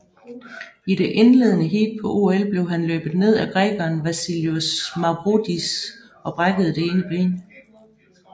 I det indledende heat på OL blev han løbet ned af grækeren Vasilios Mavroidis og brækkede det ene ben